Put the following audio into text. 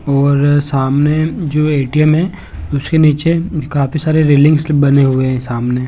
और सामने जो ए_टी_एम है उसके नीचे काफी सारी रेलिंग स्लिप बने हुए हैं सामने--